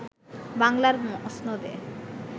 বাংলার মসনদে